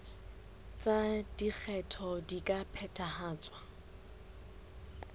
tsa lekgetho di ka phethahatswa